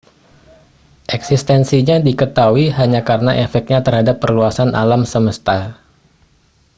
eksistensinya diketahui hanya karena efeknya terhadap perluasan alam semesta